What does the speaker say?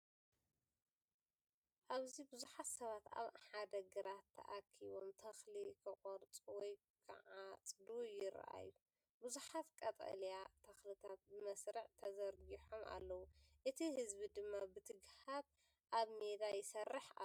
ኣብዚ ብዙሓት ሰባት ኣብ ሓደ ግራት ተኣኪቦም ተኽሊ ክቖርጹ ወይ ክዓጽዱ ይረኣዩ። ብዙሓት ቀጠልያ ተኽልታት ብመስርዕ ተዘርጊሖም ኣለዉ፡ እቲ ህዝቢ ድማ ብትግሃት ኣብ ሜዳ ይሰርሕ ኣሎ።